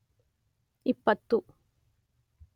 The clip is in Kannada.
ಇಪ್ಪತ್ತು